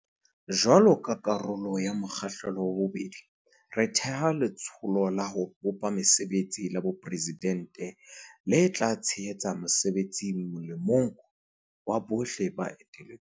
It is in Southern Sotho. Jwaloka karolo ya mo kgahlelo wa bobedi, re theha Letsholo la ho bopa Mesebetsi la Boporesidente le tla tshe hetsa mosebetsi molemong wa bohle le eteletsweng.